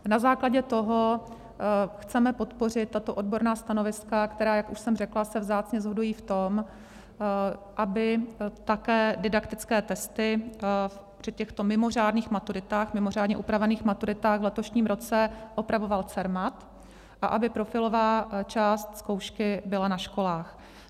Na základě toho chceme podpořit tato odborná stanoviska, která, jak už jsem řekla, se vzácně shodují v tom, aby také didaktické testy při těchto mimořádných maturitách, mimořádně upravených maturitách, v letošním roce opravoval Cermat a aby profilová část zkoušky byla na školách.